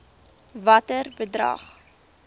watter bedrag